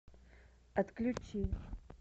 отключи